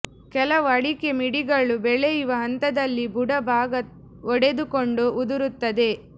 ಕೆಲವು ಅಡಿಕೆ ಮಿಡಿಗಳು ಬೆಳೆಯುವ ಹಂತದಲ್ಲಿ ಬುಡ ಭಾಗ ಒಡೆದುಕೊಂಡು ಉದುರುತ್ತದೆ